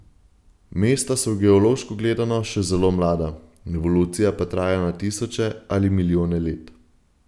Mesta so geološko gledano še zelo mlada, evolucija pa traja na tisoče ali milijone let.